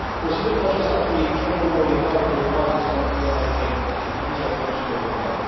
Consider că aceasta ar fi cea mai bună orientare de urmat în stabilirea unei definiții a produselor locale.